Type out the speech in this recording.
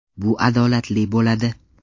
Bu adolatli bo‘ladi.